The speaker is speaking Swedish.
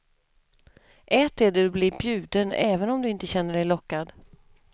Ät det du blir bjuden även om du inte känner dig lockad.